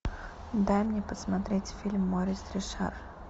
дай мне посмотреть фильм морис ришар